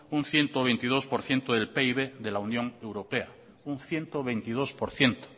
un ciento veintidós por ciento del pib de la unión europea un ciento veintidós por ciento